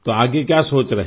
तो आगे क्या सोच रहे हैं